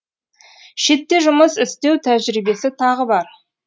шетте жұмыс істеу тәжірибесі тағы бар